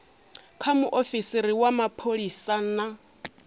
kha muofisiri wa mapholisa na